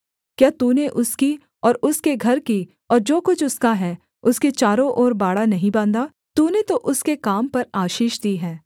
क्या तूने उसकी और उसके घर की और जो कुछ उसका है उसके चारों ओर बाड़ा नहीं बाँधा तूने तो उसके काम पर आशीष दी है और उसकी सम्पत्ति देश भर में फैल गई है